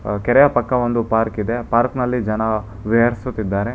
ಕೆರೆಯ ಪಕ್ಕ ಒಂದು ಪಾರ್ಕ್ ಇದೆ ಪಾರ್ಕ್ನಲ್ಲಿ ಜನ ವಿಹರಿಸುತ್ತಿದ್ದಾರೆ.